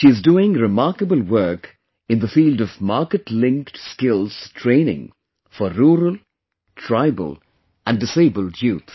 She is doing remarkable work in the field of Market Linked Skills Training for rural, tribal and disabled youth